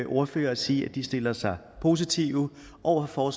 ordfører og sige at de stiller sig positive over for